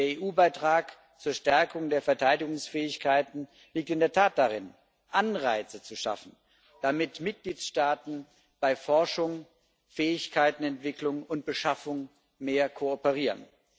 Der EU Beitrag zur Stärkung der Verteidigungsfähigkeiten liegt in der Tat darin, Anreize zu schaffen, damit die Mitgliedstaaten bei Forschung, Fähigkeitenentwicklung und Beschaffung mehr kooperieren.